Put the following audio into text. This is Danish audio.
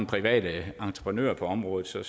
private entreprenører på området så